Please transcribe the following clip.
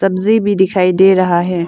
सब्जी भी दिखाई दे रहा है।